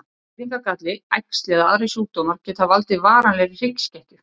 Fæðingargalli, æxli eða aðrir sjúkdómar geta valdið varanlegri hryggskekkju.